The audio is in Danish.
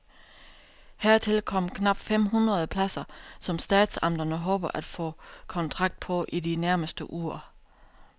Hertil kommer knap fem hundrede pladser, som statsamterne håber at få kontrakt på i de nærmeste uger.